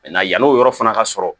yann'o yɔrɔ fana ka sɔrɔ